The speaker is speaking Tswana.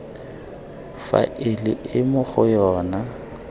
faele e mo go yona